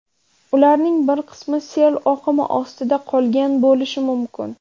Ularning bir qismi sel oqimi ostida qolgan bo‘lishi mumkin.